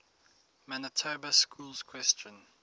manitoba schools question